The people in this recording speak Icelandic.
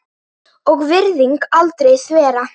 og virðing aldrei þverra.